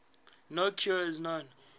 no cure is known